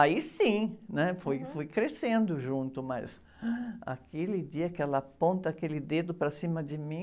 Aí sim, né? Fui, fui crescendo junto, mas aquele dia que ela aponta aquele dedo para cima de mim...